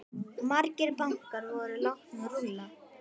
Margir bankar voru látnir rúlla.